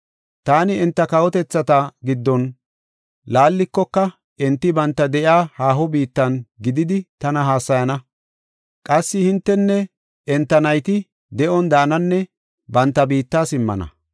Taani enta kawotethata giddon laallikoka enti banta de7iya haaho biittan gididi tana hassayana. Qassi entinne enta nayti de7on daananne banta biitta simmana.